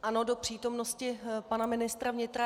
Ano, do přítomnosti pana ministra vnitra.